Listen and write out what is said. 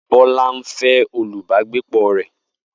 Bola ń fẹ́ olùbágbépọ̀ rẹ̀